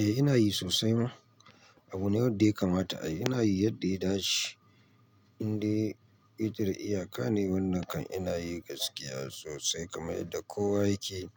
Eh ina yi sosai ma. Abu ne wadda ya kamata a yi. Ina yi yadda ya dace. Indai yake da iyaka ne wannan kam ina yi gaskiya sosai kamar yadda kowa yake.